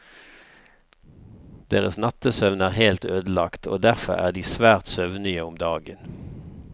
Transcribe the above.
Deres nattesøvn er helt ødelagt, og derfor er de svært søvnige om dagen.